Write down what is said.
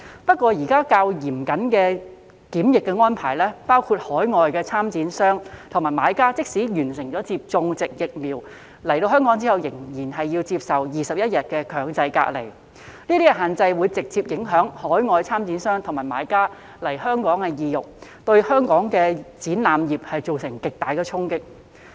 不過，現時較嚴謹的檢疫安排，包括海外參展商和買家即使已完成接種疫苗，抵港後仍要接受21天強制隔離，這些限制會直接影響海外參展商和買家來港的意欲，對本港的展覽業造成極大衝擊。